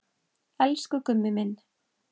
Elsku Gummi minn.